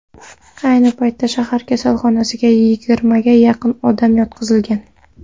Ayni paytda shahar kasalxonasiga yigirmaga yaqin odam yotqizilgan.